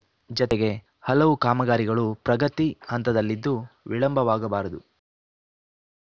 ಜತೆಗೆ ಹಲವು ಕಾಮಗಾರಿಗಳು ಪ್ರಗತಿ ಹಂತದಲ್ಲಿದ್ದು ವಿಳಂಬವಾಗಬಾರದು